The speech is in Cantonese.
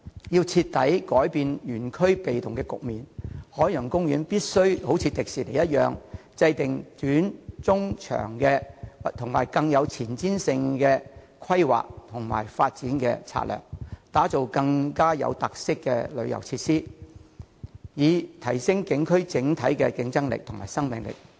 如要徹底改變園區處於被動位置的局面，海洋公園必須仿效迪士尼的做法，即制訂短、中、長期並更具前瞻性的規劃和發展策略，打造更具特色的旅遊設施，以提升景區整體競爭力及生命力。